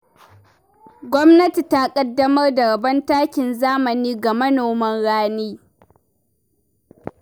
Gwamnati ta ƙaddamar da rabon takin zamani ga manoman rani.